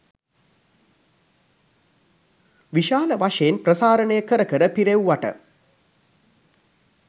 විශාල වශයෙන් ප්‍රසාරණය කර කර පිරෙව්වට